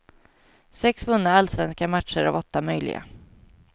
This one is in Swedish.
Sex vunna allsvenska matcher av åtta möjliga.